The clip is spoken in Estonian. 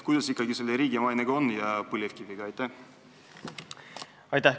Kuidas ikkagi selle riigi mainega ja põlevkiviga on?